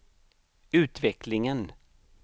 utvecklingen